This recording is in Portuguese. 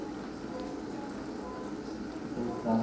Deixa eu pensar.